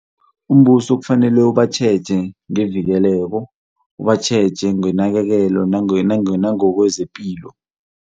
Umbuso kufanele ubatjheje ngevikeleko, ubatjheje ngenakekelo nangokwezepilo.